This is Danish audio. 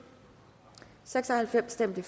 for stemte